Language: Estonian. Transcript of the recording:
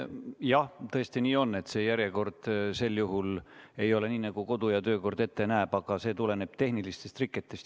Jah, tõesti, nii on, et järjekord sel juhul ei ole nii, nagu kodu- ja töökord ette näeb, aga see tuleneb tehnilistest riketest.